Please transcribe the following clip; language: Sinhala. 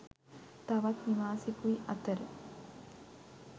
තවත් නිවාසෙකුයි අතර